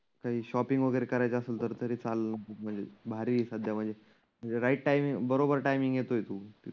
काही शॉपिंग वगैरे करायच असेल तर तरी चालेल. म्हणजे भारी आहे सध्या म्हणजे. म्हणजे राईट टाईमिंग बरोबर टाईमिंग येतोय तु.